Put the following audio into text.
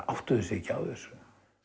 áttuðu sig ekki á þessu